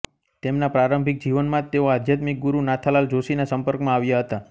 તેમના પ્રારંભિક જીવનમાં જ તેઓ આધ્યાત્મિક ગુરુ નાથાલાલ જોષીના સંપર્કમાં આવ્યા હતા